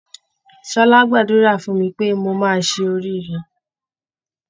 Ṣọlá gbàdúrà fún mi pé mo máa ṣe oríire.